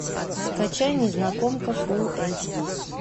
скачай незнакомка фул эйч ди